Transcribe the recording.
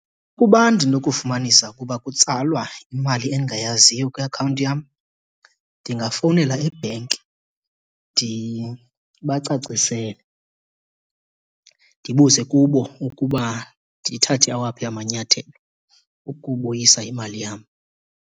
Uba ndinokufumanisa ukuba kutsalwa imali endingayaziyo kwiakhawunti yam, ndingafowunela ebhenki ndibacacisele. Ndibuze kubo ukuba ndithathe awaphi amanyathelo ukubuyisa imali yam.